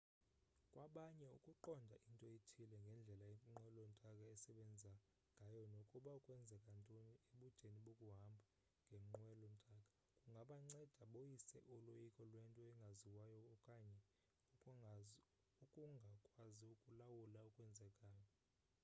kwabanye ukuqonda into ethile ngendlela inqwelo ntaka esebenza ngayo nokuba kwenzeka ntoni ebudeni bokuhamba ngenqwelo ntaka kungabanceda boyise uloyiko lwento engaziwayo okanye ukungakwazo ukulawula okwenzekayo